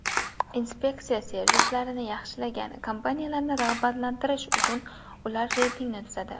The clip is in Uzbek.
Inspeksiya servislarni yaxshilagan kompaniyalarni rag‘batlantirish uchun ular reytingini tuzadi.